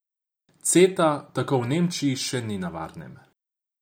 Ceta tako v Nemčiji še ni na varnem.